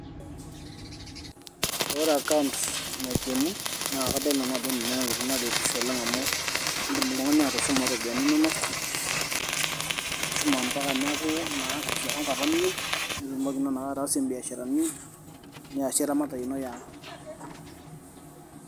Ore account naikeni naa kadol nanu ajo ninye naretisho oleng amu indim oltung'ani atushuma iropiyiani inonok atushuma ombama neeku naa kiwango apa niyieu niasi imbiasharani niasie eramatare ino eyaang.